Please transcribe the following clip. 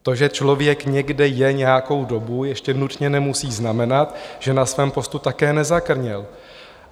To, že člověk někde je nějakou dobu, ještě nutně nemusí znamenat, že na svém postupu také nezakrněl.